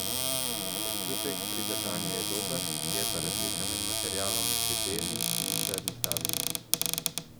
Občutek pri držanju je dober, je pa razlika med materialom pri beli in črni tablici.